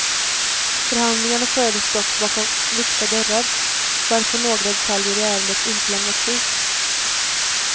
Förhandlingarna fördes dock bakom lyckta dörrar, varför några detaljer i ärendet inte lämnats ut.